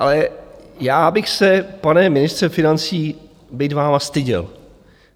Ale já bych se, pane ministře financí, být vámi, styděl.